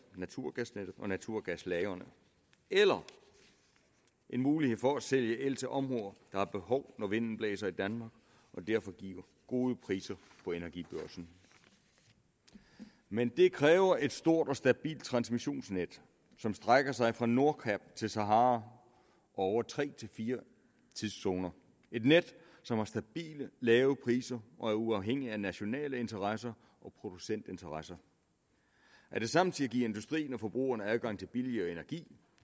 naturgasnettet og naturgaslagrene eller en mulighed for at sælge el til områder der har behov når vinden blæser i danmark og derfor giver gode priser på energibørsen men det kræver et stort og stabilt transmissionsnet som strækker sig fra nordkap til sahara og over tre fire tidszoner et net som har stabile lave priser og er uafhængigt af nationale interesser og producentinteresser at det samtidig giver industrien og forbrugerne adgang til billigere energi